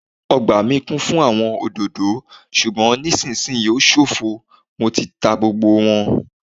Ọgbà mi kún fún àwọn òdòdó ṣùgbọn nisisiyi o ṣofo nítorí Mo ti ta gbogbo wọn